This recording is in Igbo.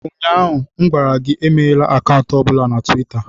Ụnyaahụ m gwara gị, emeghela akaụntụ ọ bụla na Tuweeta!